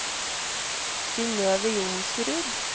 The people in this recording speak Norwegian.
Synøve Johnsrud